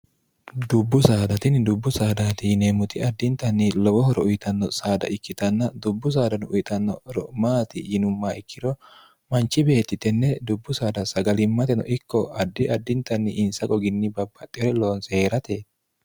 dubbu saadatinni dubbu saadaati yineemmuti addintanni lowohoro uyitanno saada ikkitanna dubbu saadanno uyitannoro maati yinumma ikkiro manchi beettitenne dubbu saada sagalimmateno ikko addi addintanni insa goginni babbaxxeere loonseee'rate